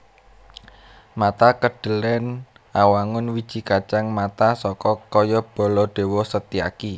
Mata Kedhelèn Awangun wiji kacang mata tokoh kaya Baladéwa Setyaki